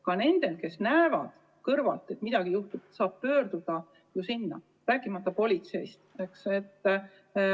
Ka need, kes näevad kõrvalt, et midagi juhtub, saavad sinna helistada, rääkimata politsei poole pöördumisest.